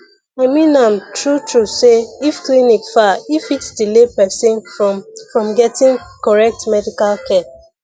i mean am truetrue say if clinic far e fit delay person from from getting correct medical care